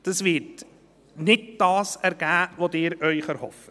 Das wird nicht das ergeben, was Sie sich erhoffen.